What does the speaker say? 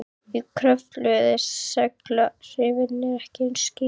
Í Kröflu eru seguláhrifin ekki eins skýr.